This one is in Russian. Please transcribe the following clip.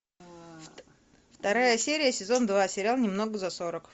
вторая серия сезон два сериал немного за сорок